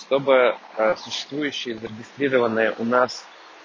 чтобы сществующие зарегистрированые у нас